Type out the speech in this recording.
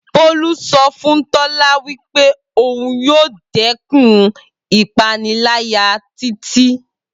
Bolu so fun Tola wi pe oun yoo dekun ipanilaya Titi.